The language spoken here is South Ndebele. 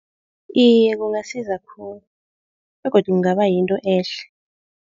Iye kungasiza khulu begodu kungaba yinto ehle.